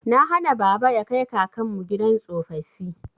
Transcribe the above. Na hana baba ya kai kakanmu gidan tsofaffi.